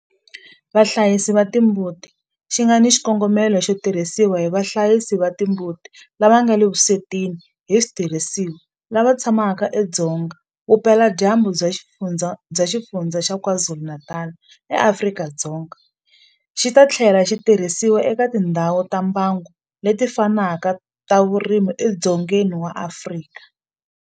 Vahlayisi va timbuti xi nga na xikongomelo xo tirhisiwa hi vahlayisi va timbuti lava nga le vuswetini hi switirhisiwa lava tshamaka edzonga vupeladyambu bya Xifundzha xa KwaZulu-Natal eAfrika-Dzonga, xi ta tlhela xi tirhisiwa eka tindhawu ta mbango leti fanaka ta vurimi edzongeni wa Afrika.